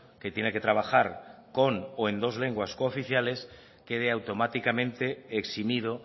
que tiene que trabajar con o en dos lenguas cooficiales quede automáticamente eximido